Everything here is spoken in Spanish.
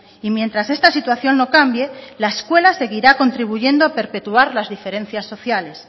y mientras esta situación no cambie la escuela seguirá contribuyendo perpetuar las diferencias sociales